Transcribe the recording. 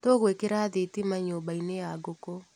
Tũgwĩkĩra thitima nyũmbainĩ ya ngũkũ.